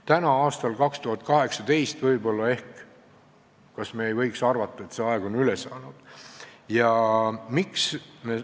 Kas me nüüd, aastal 2018, ei võiks arvata, et see aeg on ümber saanud?